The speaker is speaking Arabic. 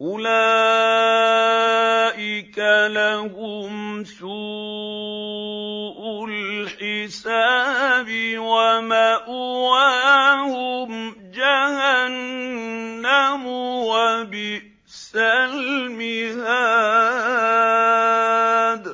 أُولَٰئِكَ لَهُمْ سُوءُ الْحِسَابِ وَمَأْوَاهُمْ جَهَنَّمُ ۖ وَبِئْسَ الْمِهَادُ